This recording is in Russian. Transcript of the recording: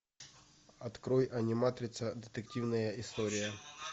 открой аниматрица детективная история